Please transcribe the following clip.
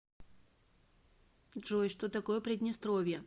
джой что такое приднестровье